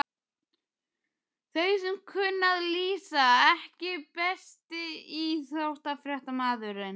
Þeir sem kunna að lýsa EKKI besti íþróttafréttamaðurinn?